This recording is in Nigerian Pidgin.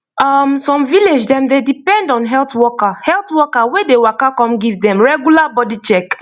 um some village dem dey depend on health worker health worker wey dey waka come give dem regular body check